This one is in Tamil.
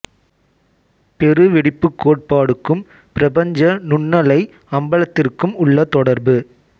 பெரு வெடிப்புக் கோட்பாடுக்கும் பிரபஞ்ச நுண்ணலை அம்பலத்திற்கும் உள்ள தொடர்பு